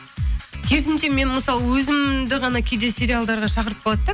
керісінше мен мысалы өзімді ғана кейде сериалдарға шақырып қалады да